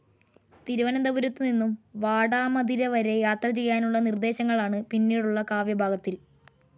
തിരുവനന്തപുരത്തു നിന്നും വാടാമതിരവരെ യാത്ര ചെയ്യാനുള്ള നിർദ്ദേശങ്ങളാണ് പിന്നീടുള്ള കാവ്യഭാഗത്തിൽ.